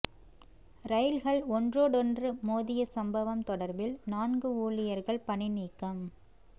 ரயில்கள் ஒன்றோடொன்று மோதிய சம்பவம் தொடர்பில் நான்கு ஊழியர்கள் பணி நீக்கம்